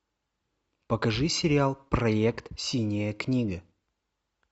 покажи сериал проект синяя книга